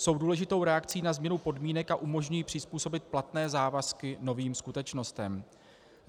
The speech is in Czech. Jsou důležitou reakcí na změnu podmínek a umožňují přizpůsobit platné závazky novým skutečnostem.